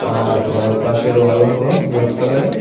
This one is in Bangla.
আর এর পাশের ওয়াল হল হোয়াইট কালারের।